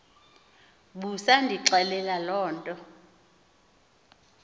busandixelela loo nto